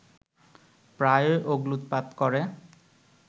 প্রায়ই অগ্ন্যুৎপাত করে